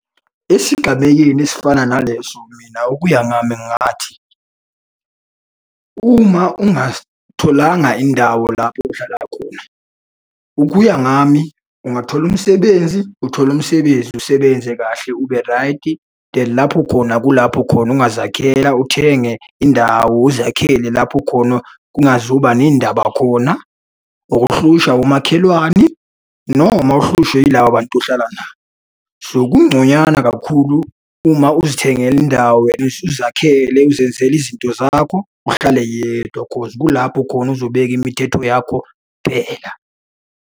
Esigabeyeni esifana naleso mina ukuya ngami ngingathi, uma ungatholanga indawo lapho uhlala khona, ukuya ngami ungathola umsebenzi, uthole umsebenzi usebenze kahle uberaydi lapho khona kulapho khona ungazakhela uthenge indawo uzakhele lapho khona kungazuba ney'ndaba khona. Ukuhlushwa umakhelwane noma uhlushwe yilaba bantu ohlala nabo. So, kungconywana kakhulu uma uzithengela indawo wena uzakhele, uzenzele izinto zakho, uhlale yedwa cause kulapho khona uzobeka imithetho yakho kuphela.